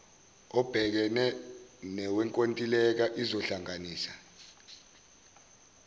ebhekene nowenkontileka izohlanganisa